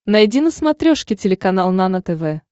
найди на смотрешке телеканал нано тв